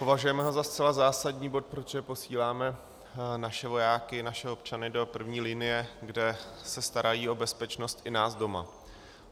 Považujeme ho za zcela zásadní bod, protože posíláme naše vojáky, naše občany, do první linie, kde se starají o bezpečnost i nás doma.